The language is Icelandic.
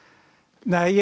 nei